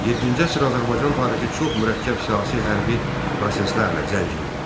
Yeddinci əsr Azərbaycan tarixi çox mürəkkəb siyasi-hərbi proseslərlə zəngindir.